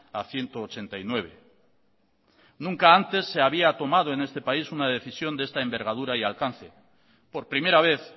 a ciento ochenta y nueve nunca antes se había tomado en este país una decisión de esta envergadura y alcance por primera vez